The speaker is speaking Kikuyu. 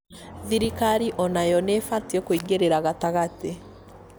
thirikari onayo nĩĩbatiĩ kũingĩrĩra gatagatĩ